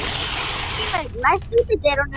Járngrímur, læstu útidyrunum.